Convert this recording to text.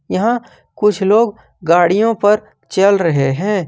यहां कुछ लोग गाड़ियों पर चल रहे हैं।